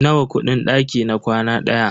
Nawa kudin daki na kwana ɗaya?